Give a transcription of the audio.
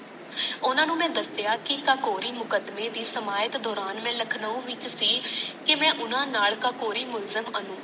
ਉਨ੍ਹਾਂ ਨੂੰ ਮੈ ਦਾਸੀਆਂ ਸਕੋਰੀ ਮੁਕੱਦਮੇ ਦੀ ਸਮਾਇਤ ਦੌਰਾਨ ਮੈ ਲੱਖਣਾਵ ਵਿੱਚ ਸੀ ਕੇ ਮੈ ਓਨਾ ਨਾਲ ਸਕੋਰੀ ਮੁਦ੍ਰਤ ਅਨੂ